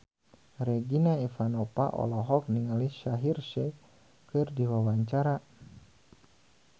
Regina Ivanova olohok ningali Shaheer Sheikh keur diwawancara